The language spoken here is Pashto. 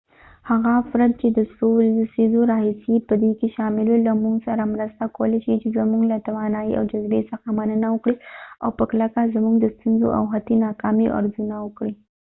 هغه افرد چې د څو لسیزو راهیسې په دې کې شامل وو له مونږ سره مرسته کولی شي چې زمونږ له توانایي او جذبې څخه مننه وکړي او په کلکه زمونږ د ستونزو او حتی ناکامیو ارزونه وکړي